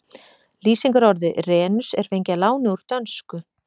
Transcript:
Lýsingarorðið renus er fengið að láni úr dönsku.